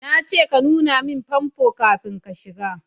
Na ce ka nuna min fasfo kafin ka shiga